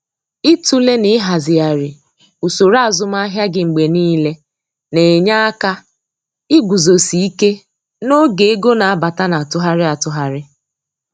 Ịtụle na ịhazighari usoro azụmahịa gị mgbe niile na-enye aka iguzosi ike n'oge ego na-abata na atụgharị atụgharị.